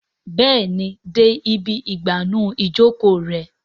Béèni dé ibí igbanu Ìjoko rẹ.